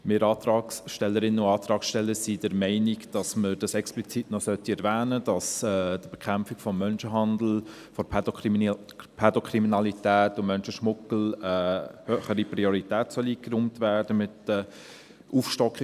Wir Antragsstellerinnen und Antragssteller sind der Meinung, man sollte explizit noch erwähnen, dass mit der Aufstockung des Personalbestandes der Bekämpfung des Menschenhandels, der Pädokriminalität und des Menschenschmuggels höhere Priorität eingeräumt werden soll.